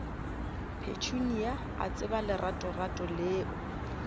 petunia a tseba leratorato leo